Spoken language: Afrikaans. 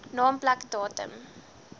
naam plek datum